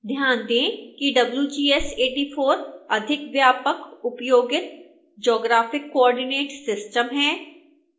ध्यान दें कि wgs 84 अधिक व्यापक उपयोगित geographic coordinate system है